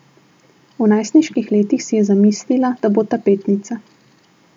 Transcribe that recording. V najstniških letih si je zamislila, da bo tapetnica.